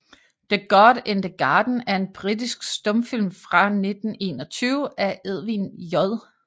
The God in the Garden er en britisk stumfilm fra 1921 af Edwin J